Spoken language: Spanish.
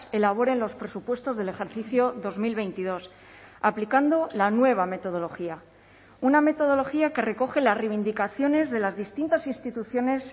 elaboren los presupuestos del ejercicio dos mil veintidós aplicando la nueva metodología una metodología que recoge las reivindicaciones de las distintas instituciones